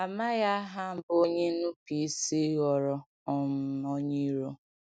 Amaghị aha mbụ onye nnupụisi ghọrọ um onye iro.